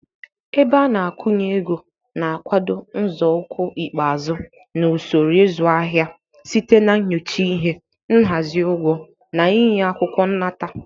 Ebe ana-akwụnyeego na-akwado nzọụkwụ ikpeazụ na usoro ịzụ ahịa site na nyocha ihe, nhazi ugwo, na ịnye akwukwo nnata.